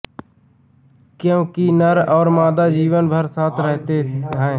क्योंकि नर और मादा जीवन भर साथ रहते हैं